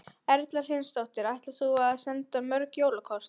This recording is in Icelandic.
Erla Hlynsdóttir: Ætlar þú að senda mörg jólakort?